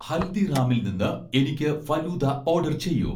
ഹൽദിറാമിൽ നിന്ന് എനിക്ക് ഫലൂദ ഓഡർ ചെയ്യൂ